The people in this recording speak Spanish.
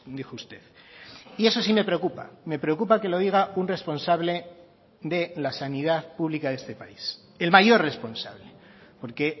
dijo usted y eso sí me preocupa me preocupa que lo diga un responsable de la sanidad pública de este país el mayor responsable porque